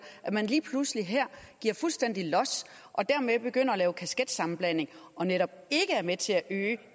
at man lige pludselig her giver fuldstændig los og dermed begynder at lave kasketsammenblanding og netop ikke er med til at øge